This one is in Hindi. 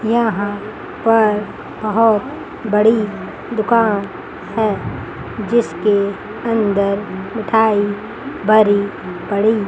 यहां पर बहोत बड़ी दुकान है जिसके अंदर मिठाई भरी पड़ी--